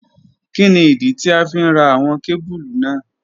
Kini idi ti a fi n ra awọn kebulu naa?